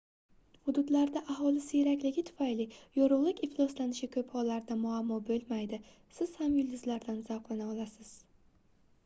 hududlarda aholi siyrakligi tufayli yorugʻlik ifloslanishi koʻp hollarda muammo boʻlmaydi siz ham yulduzlardan zavqlana olasiz